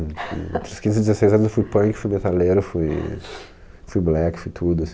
Entre os quinze e dezesseis anos eu fui punk, fui metaleiro, fui, fui black, fui tudo.